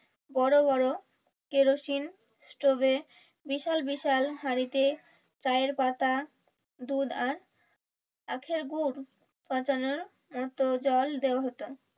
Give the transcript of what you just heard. বড়বড় কেরোসিন স্টোভে বিশাল বিশাল হাড়িতে চায়ের পাতা দুধ আর আখের গুড় পাঠানোর মতো জল দেয়া হতো